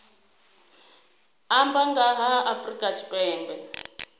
amba nga ha afrika tshipembe